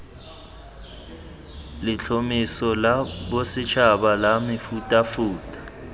letlhomeso la bosetšhaba la mefutafuta